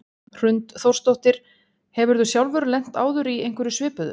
Hrund Þórsdóttir: Hefurðu sjálfur lent áður í einhverju svipuðu?